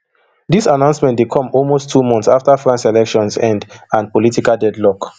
dis announcement dey come almost two months afta france elections end for political deadlock